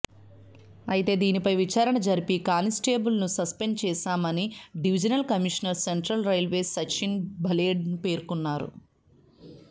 అయితే దీనిపై విచారణ జరిపి కానిస్టేబుల్ను సస్పెండ్ చేశామని divisional commissioner central railways Sachin Bhaled పేర్కొన్నారు